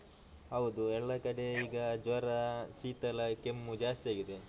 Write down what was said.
ಹೌದು ಎಲ್ಲ ಕಡೆ ಈಗ ಜ್ವರ ಶೀತ ಎಲ್ಲ ಕೆಮ್ಮು ಜಾಸ್ತಿ ಆಗಿದೆ.